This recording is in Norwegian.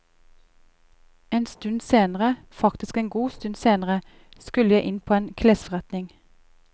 En stund senere, faktisk en god stund senere, skulle jeg inn på en klesforretning.